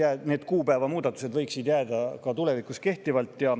Aga need kuupäeva muudatused võiksid jääda ka tulevikus kehtima.